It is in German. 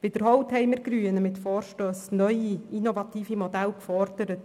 Wiederholt haben wir Grünen mit Vorstössen neue und innovative Modelle gefordert.